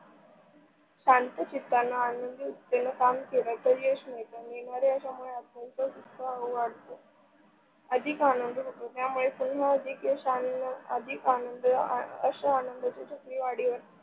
शांत चित्तान आणि युक्तीन काम केल तर, यश मिळत. मिळणाऱ्या यशाने उत्साह वाढतो, अधिक आनंद होतो त्यामुळे पुन्हा अधिक यश, अधिक आनंद आशा आनंदाचा .